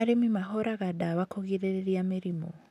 Arĩmi mahũraga ndawa kũgirĩrĩria mĩrimũ